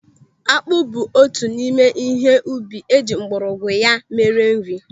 Akpụ bụ otu n'ime ihe ubi eji mgbọrọgwụ ya mere nri.